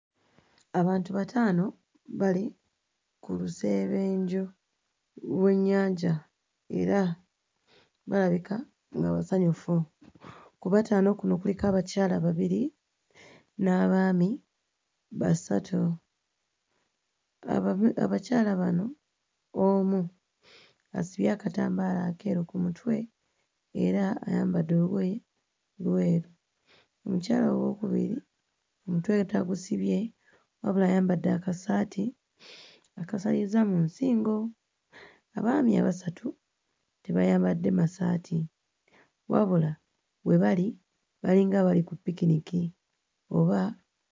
Abantu bataano bali ku lusebenju lw'ennyanja era balabika nga basanyufu. Ku bataano kuno kuliko abakyala babiri, n'abaami basatu. Abakyala bano omu asibye akambaala akeeru ku mutwe, era ayambadde olugoye lweru. Omukyala owookubiri omutwe ye tagusibye wabula ayambadde akasaati akasaliza mu nsingo. Abaami abasatu tebayambadde masaati, wabula we bali balinga abali ku picnic oba...